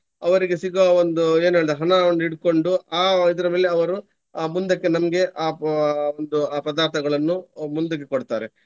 ಅವರಿಗೆ ಸಿಗುವ ಒಂದು ಏನ್ ಹೇಳ್ತಾರೆ ಹಣ ಒಂದು ಹಿಡ್ಕೊಂಡು ಆ ಇದ್ರ ಮೇಲೆ ಅವರು ಅಹ್ ಮುಂದಕ್ಕೆ ನಮ್ಗೆ ಅಹ್ ಪ~ ಒಂದು ಆ ಪದಾರ್ಥಗಳನ್ನು ಮುಂದಕ್ಕೆ ಕೊಡ್ತಾರೆ.